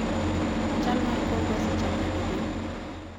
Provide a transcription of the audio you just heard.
chal mar kor lwasi chal nade Gem?